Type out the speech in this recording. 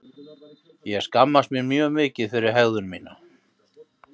Ég skammast mín mjög mikið fyrir hegðun mína.